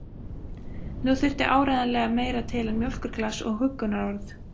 Nú þurfti áreiðanlega meira til en mjólkurglas og huggunarorð.